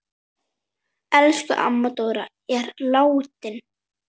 Elsku amma Dóra er látin.